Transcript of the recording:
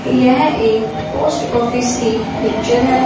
यहं एक post office की पिक्चर हैं।